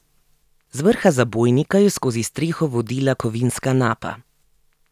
Z vrha zabojnika je skozi streho vodila kovinska napa.